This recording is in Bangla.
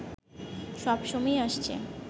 সব সময়ই আসছে